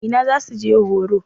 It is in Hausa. Ina za su je horo?